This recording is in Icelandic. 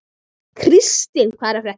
Kristína, hvað er að frétta?